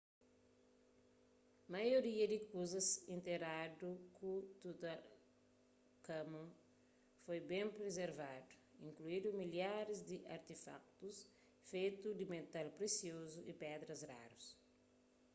maioria di kuzas interadu ku tutankhamun foi ben prizervadu inkluindu milharis di artefakutus fetu di metal presiozu y pedras rarus